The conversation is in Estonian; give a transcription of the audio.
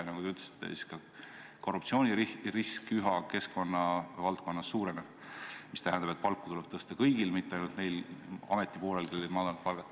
Ja nagu te ütlesite, ka korruptsioonirisk keskkonnavaldkonnas üha suureneb, mis tähendab, et palka tuleb tõsta kõigil, mitte ainult neil ametnikel, kellel on olnud madalad palgad.